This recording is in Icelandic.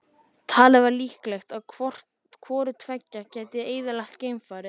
Talið var líklegt, að hvort tveggja gæti eyðilagt geimfarið.